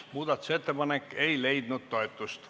Muudatusettepanek ei leidnud toetust.